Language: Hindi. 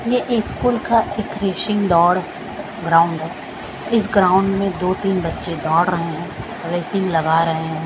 ये स्कूल का एक रेसिंग दौड़ ग्राउंड है इस ग्राउंड में दो तीन बच्चे दौड़ रहे है रेसिंग लगा रहे है।